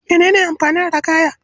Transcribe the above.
Mene ne amfanin ragaya?